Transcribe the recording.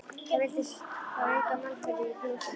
Það vildi þá enga mannaferð í fjósinu.